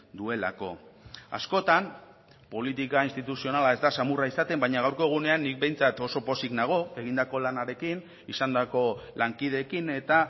duelako askotan politika instituzionala ez da samurra izaten baina gaurko egunean nik behintzat oso pozik nago egindako lanarekin izandako lankideekin eta